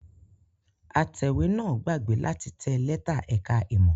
Atẹ̀wé náà gbàgbé láti tẹ lẹ́tà ẹ̀ka-ìmọ̀.